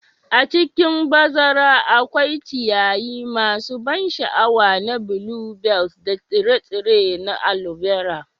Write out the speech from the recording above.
A cikin bazara akwai ciyayi masu ban sha'awa na bluebells da tsire-tsire na alobera.